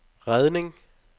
redning